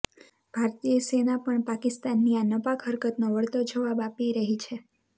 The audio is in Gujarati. ભારતીય સેના પણ પાકિસ્તાનની આ નાપાક હરકતનો વળતો જવાબ આપી રહી છે